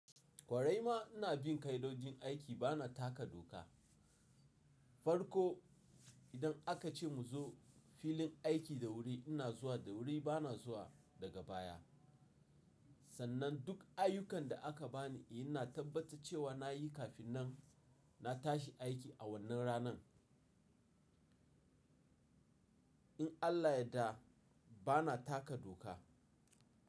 Kwarai ma ina bin kaidojin aiki, bana taka doka. Farko idan aka ce mu zo filin aiki da wuri ina zuwa da wuri bana zuwa daga baya. Sannan duk ayyukan da aka bani ina tabbata cewa na yi kafin nan na tashi aiki a wannan ranan. In Allah yadda bana taka doka.